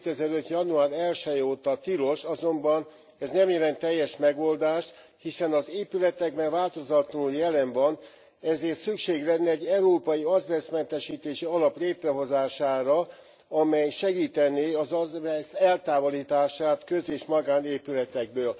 2005. január 1 je óta tilos, azonban ez nem jelent teljes megoldást, hiszen az épületekben változatlanul jelen van, ezért szükség lenne egy európai azbesztmentesítési alap létrehozására, amely segítené az azbeszt eltávolítását köz és magánépületekből.